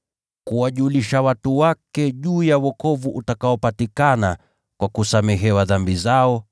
kuwajulisha watu wake juu ya wokovu utakaopatikana kwa kusamehewa dhambi zao,